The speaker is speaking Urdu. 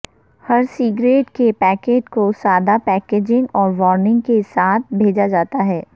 ہر سگریٹ کے پیکٹ کو سادہ پیکیجنگ اور وارننگ کے ساتھ بیچا جاتا ہے